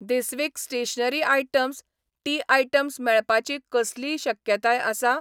This week stationery items, tea items मेळपाची कसलीय शक्यताय आसा ?